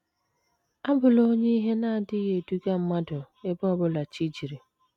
Abụla onye ihe na - adịghị eduga mmadụ ebe ọ bụla jichiri